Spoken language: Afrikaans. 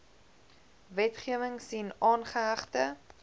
wetgewing sien aangehegte